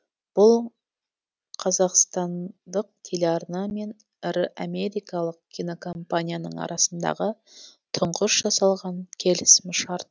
бұл қазақстандық телеарна мен ірі америкалық кинокомпанияның арасындағы тұңғыш жасалған келісім шарт